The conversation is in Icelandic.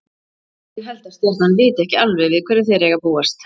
Ég held að Stjarnan viti ekki alveg við hverju þeir eiga að búast.